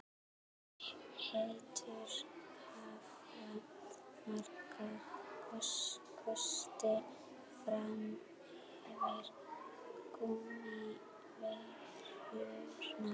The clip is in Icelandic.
Hettur hafa marga kosti fram yfir gúmmíverjurnar.